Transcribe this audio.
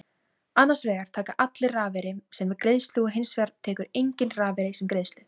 Annars vegar taka allir rafeyri sem greiðslu og hins vegar tekur enginn rafeyri sem greiðslu.